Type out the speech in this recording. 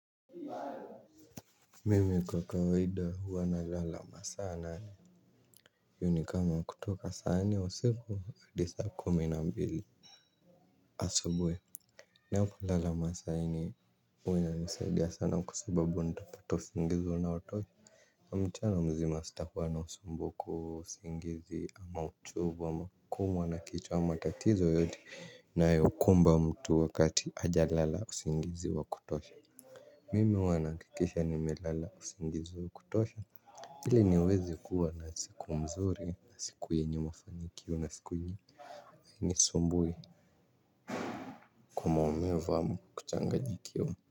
Mimi kwa kawaida huwa na lala masaa nane hiyo ni kama kutoka saa nne wa siku adisa kumi na mbili. Asubui na hiyo kulala masaa nne uwa inanisaidia sana kwa sababu ndapata usingizi wa naotosha mchana mzima sitakuwa na usumbuko usingizi ama uchovu ama kuumwa na kichwa ama tatizo yoyote nayokumba mtu wakati ajalala usingizi wa kutosha. Mimi huwa naakikisha nimelala usingizi wa kutosha. Ilini wezi kua na siku mzuri nasiku yenye mafanikio na siku i Hainisumbui Kwa maumivu ama kuchanganyikiwa.